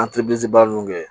baara ninnu kɛ